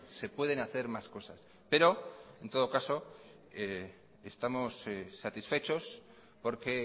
se pueden hacer más cosas pero en todo caso estamos satisfechos porque